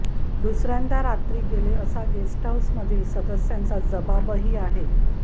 दुसर्यांदा रात्री गेले असा गेस्ट हाऊसमधील सदस्यांचा जबाबही आहे